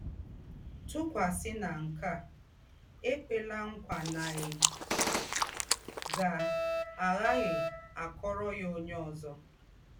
Tùkwàsì ná nke à, é kwèlà ńkwà ná í gá-àghàghì àkọ̀rò ya ónyè ózọ.